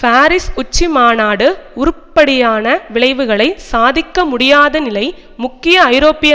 Paris உச்சிமாநாடு உருப்படியான விளைவுகளை சாதிக்க முடியாத நிலை முக்கிய ஐரோப்பிய